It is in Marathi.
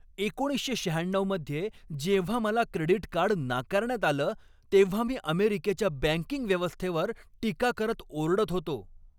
एकोणीसशे शहाण्णऊ मध्ये जेव्हा मला क्रेडिट कार्ड नाकारण्यात आलं तेव्हा मी अमेरिकेच्या बँकिंग व्यवस्थेवर टीका करत ओरडत होतो.